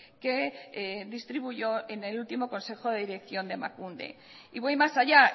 que distribuyó en el último consejo de dirección de emakunde y voy más allá